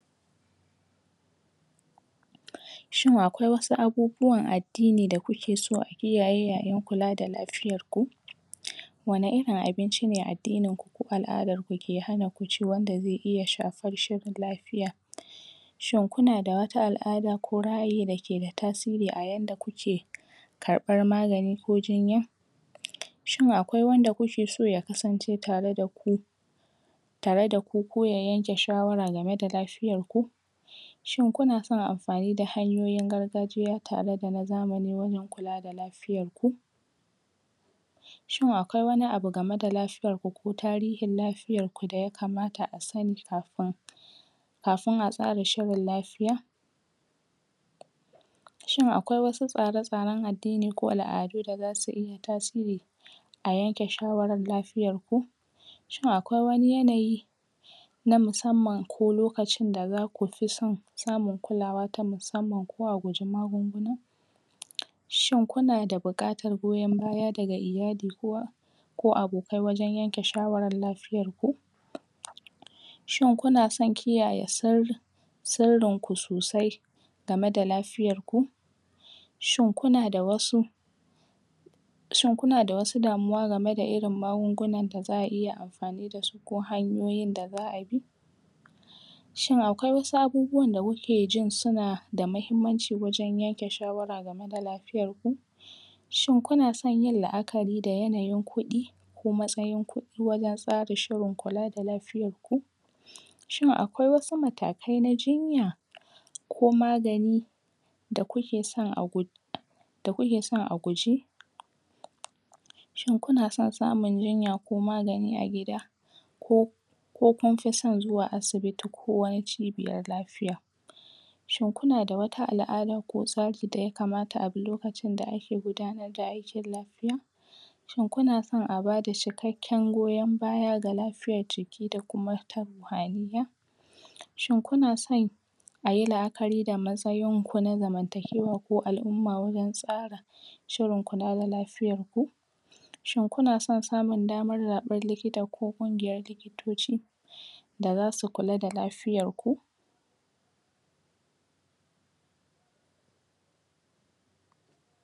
pause Shin akwai wasu abubuwan addini da kuke so a kiyaye yayin kula da lafiyarku? um Wane irin abinci ne addininku ko al'adanku da ya hanaku ci wanda zai iya shafar shirin lafiya? Shin kuna da wata al'ada ko ra'ayi da ke da tasiri a yanda kuke kaɓar magani ko jinya? um Shin akwai wanda kukeso ya kasance tare da ku tare daku ko ya yanke shawara game da lafiyarku? Shin kunason amfani da hanyoyin gargajiya tare da na zamani wajen kula da lafiyarku? Shin akwai wani abu game da lafiyarku ko tarihin lafiyar ku da ya kamata a sani kafin kafin a tsara shirin lafiya? Shin akwai wasu tsare-tsaren addini ko al'adu da zasu iya tasiri a yanke shawarar lafiyarku? Shin akwai wani yanayi na musamman ko lokacin da zaku fi son samun kulawa ta musamman ko baku sha magani ba? um Shin kuna da buƙatar goyon baya daga iyali ko abok... ko abokai wajen yanke shawarar lafiyarku? um Shin kunason kiyaye sirri sirrinku sosai game da lafiyanku? Shin kuna da wasu shin kuna da wasu damuwa game da irin magungunan da za'a iya amfani da su ko hanyoyin da za'a bi? Shin akwai wasu abubuwan da kuke jin suna da muhimmanci wajen yanke shawara game da lafiyarku? Shin kunason yin la'akari da yayanin kuɗi ko matsayan kuɗi wajen tsara shirin kula da lafiyarku? Shin akwai wasu matakai na jinya ko magani da kukeson agu.. da kukeson a guji? Shin kuna sa samun jinya ko magani a gida ko ko kunfi son zuwa asibiti ko cibiyar lafiya? Shin kuna da wata al'ada ko tsari da ya kamata a bi lokacin da ake gudanar da aikin lafiya? Shin kunason a bada cikakken goyon baya ga lafiyar jiki da kuma a gida? Shin kunason ayi la'akari da matsayinku na zamantakewa ko al'umma wajen tsarin shirin kula da lafiyarku? Shin kunason samun daman raɓar likita ko kungiyar likitoci da zasu kula da lafiyarku pause